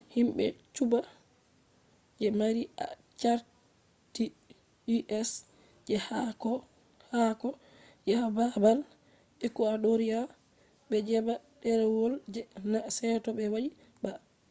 himbe cuba je mari carti us je haako haako yaha babal ecuadoria be jeba derewol je na seto be wadi ba